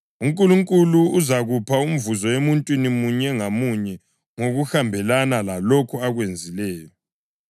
UNkulunkulu “uzakupha umvuzo emuntwini munye ngamunye ngokuhambelana lalokho akwenzileyo.” + 2.6 AmaHubo 62.12; Izaga 24.12